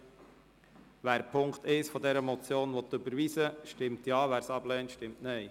Wer den Punkt 1 dieser Motion überweisen will, stimmt Ja, wer dies ablehnt, stimmt Nein.